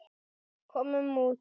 Komum út.